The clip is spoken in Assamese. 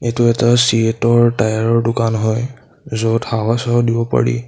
এইটো এটা চিয়েট ৰ টায়াৰ ৰ দোকান হয় য'ত হাৱা-চাৱা দিব পাৰি।